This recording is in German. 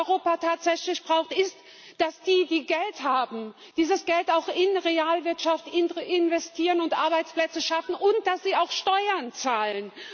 Was Europa tatsächlich braucht, ist, dass die, die Geld haben, dieses Geld auch in der Realwirtschaft investieren und Arbeitsplätze schaffen und dass sie auch Steuern zahlen!